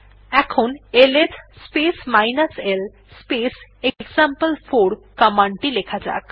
এখন LS space l space এক্সাম্পল4 command টি লেখা যাক